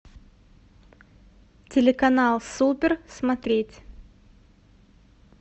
телеканал супер смотреть